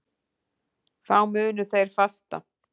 Þá munu þeir fasta.